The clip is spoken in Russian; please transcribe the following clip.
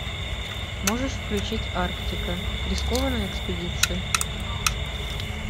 можешь включить арктика рискованная экспедиция